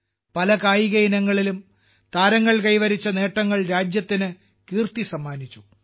പല കായിക ഇനങ്ങളിലും താരങ്ങൾ കൈവരിച്ച നേട്ടങ്ങൾ രാജ്യത്തിന് കീർത്തി സമ്മാനിച്ചു